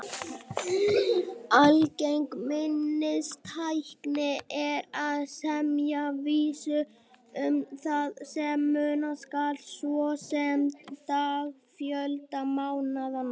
Algeng minnistækni er að semja vísur um það sem muna skal, svo sem dagafjölda mánaðanna.